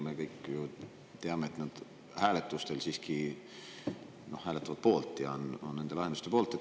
Me kõik ju teame, et nad hääletustel siiski hääletavad poolt, on nende lahenduste poolt.